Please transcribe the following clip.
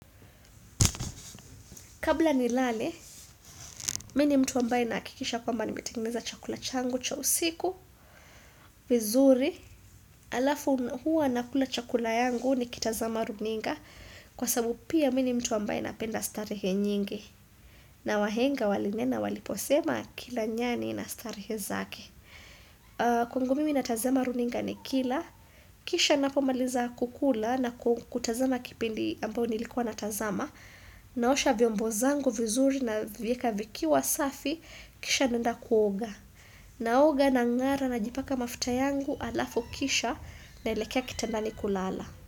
Kabla nilale, mimi ni mtu ambaye nahakikisha kwamba nimetengeneza chakula changu cha usiku, vizuri, alafu huwa nakula chakula yangu nikitazama runinga kwa sababu pia mimi ni mtu ambaye napenda starehe nyingi na wahenga walinena waliposema kila nyani na starehe zake. Kwangu mimi natazama runinga nikila Kisha ninapomaliza kukula na kutazama kipindi ambayo nilikuwa natazama Naosha vyombo zangu vizuri navieka vikiwa safi Kisha naenda kuoga naoga nang'ara najipaka mafuta yangu alafu kisha naelekea kitandani kulala.